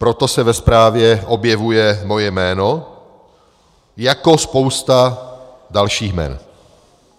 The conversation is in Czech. Proto se ve zprávě objevuje moje jméno jako spousta dalších jmen.